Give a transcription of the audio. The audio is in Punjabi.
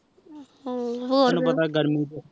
ਹਮਮ ਤੇਨੁ ਪਤਾ ਗਰਮੀ ਤੇਹ